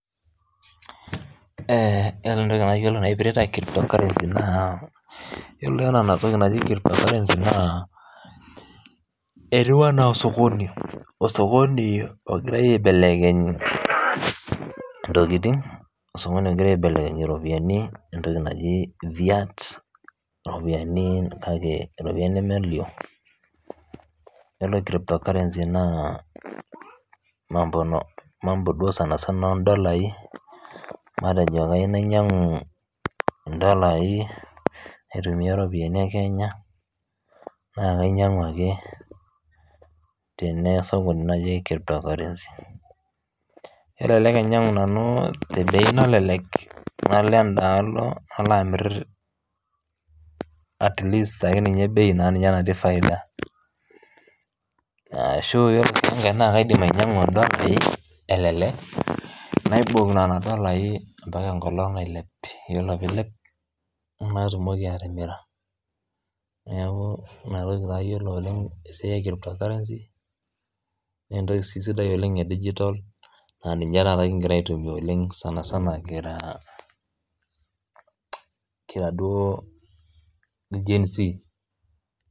Yiolo entoki nayiolo naipirta ena netieu ena osokoni ogirai aibelekeny ntokitin eropiani entoki naaji vita eropiani nemelio iyiolo Kuna naa mambo sanisana odolai matejo kayieu nainyiang'u dolai aitumia ropiani ee Kenya naa kainyiagu ake tele sokoni kelelek ainyiang'u nanu tee bei nalelek nalo edalo nalo ainyiang'u atleast tebei natii faida ashu kaidim ainyiang'u dolai elelek naiboki Nena dolai mbaka enkolog nailep ore pee elep natumoki atimira neeku enatoki ayiolou oleng Tena siai naa esiai sidai oleng we digital naa ninye taata kigira aitumia sanisana kira il Genz